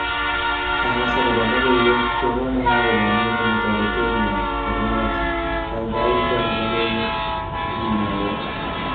Kakass akobo logoiwek chekomong akobo neinemu toretat nyo ne lelach ,kaikai itoni logoiwek akimwowo